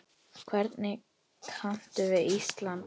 Hvernig kanntu við Ísland?